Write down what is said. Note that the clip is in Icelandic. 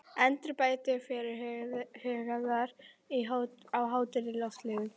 Endurbætur fyrirhugaðar á Hótel Loftleiðum